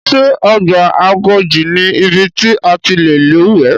Ṣé ọgbà Agodi ni ibi ti a ti lè lúwẹ̀ẹ́.